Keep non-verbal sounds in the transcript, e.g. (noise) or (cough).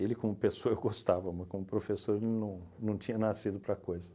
como pessoa (laughs) eu gostava, mas como professor ele não não tinha nascido para coisa.